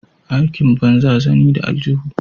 Aikin banza zani da aljuhu.